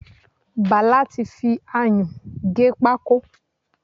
Bàlá ti fi ayún gé pákó.